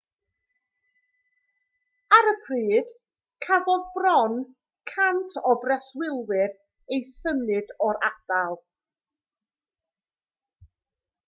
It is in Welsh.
ar y pryd cafodd bron 100 o breswylwyr eu symud o'r ardal